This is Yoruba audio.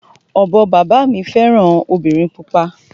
Ọ̀bọ bàbá mi fẹ́ràn obìnrin pupa